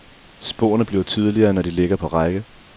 Sporene bliver tydeligere, når de ligger på række.